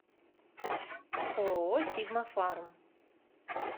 ооо сигма фарм